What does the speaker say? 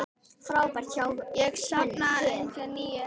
Hann safnaði einnig nýlist.